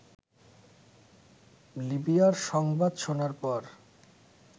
লিবিয়ার সংবাদ শোনার পর